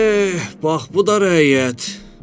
Eh, bax bu da rəiyyət.